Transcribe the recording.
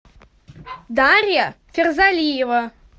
дарья ферзалиева